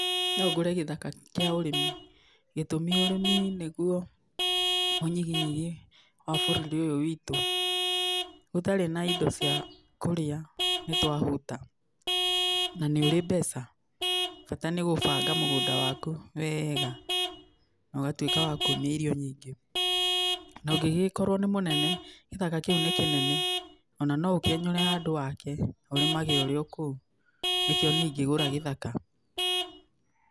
No ngũre gĩthaka kĩa ũrĩmi. ĩtũmi, ũrĩmi nĩguo ũnyihinyihi wa bũrũri ũyũ witũ. Gũtarĩ na indo cia kũrĩa, nĩ twahũta, na nĩ ũrĩ mbeca, bata nĩ gũbanga mũgũnda waku wega na ũgatuĩka wakuumia irio nyingĩ. Na ũngĩgĩkorwo nĩ mũnene, gĩthaka kĩu nĩ kĩnene, o na no ũkĩenyũre handũ wake, ũrimage ũrĩ o kũu, nĩkĩo niĩ ingĩgũra gĩthaka.